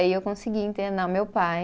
E aí eu consegui internar o meu pai.